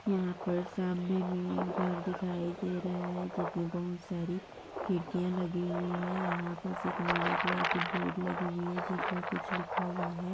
यहा पर सामने मे एक घर दिखाई दे रहा है जिसमें बहुत सारी खिड़किया लगी हुई है यहा पर एक नीले कलर की बोर्ड लगी हुई है जिसमें कुछ लिखा हुआ है।